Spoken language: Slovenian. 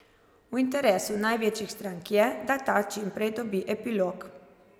V interesu največjih strank je, da ta čim prej dobi epilog.